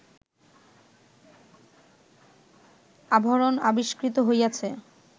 আভরণ আবিষ্কৃত হইয়াছে